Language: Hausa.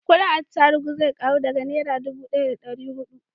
kudin atarubu zai karu daga nera dubu daya da dari hudu